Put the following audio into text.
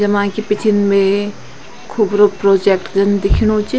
जमा कि पिछिन मे खुबरू प्रोजेक्ट कन दिखेणु च।